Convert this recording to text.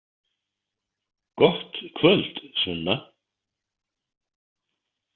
Gott kvöld, Sunna.